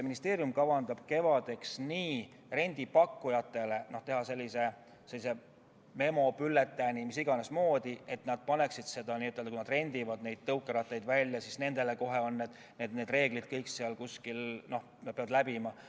Ministeerium kavatseb kevadeks teha rendipakkujatele memo, bülletääni, nii et kui nad tõukerattaid välja rendivad, siis on neil kohe kõik need reeglid seal kuskil kirjas ja nad peavad need läbi lugema.